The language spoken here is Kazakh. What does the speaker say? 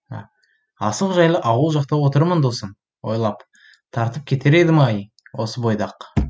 асық жайлы ауыл жақты отырмын досым ойлап тартып кетер едім ай осы бойда ақ